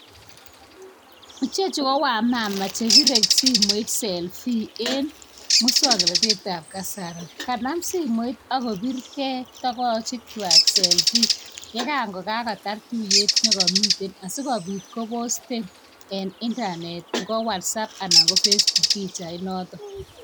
Chechu ko wamama chebire simoit selfie. Kanam simoit ako birke togoch chuak selfie. Ye ko kagotar tuiyek negamiten asigobiit ko posten en internet ko WhatsApp ana ko Facebook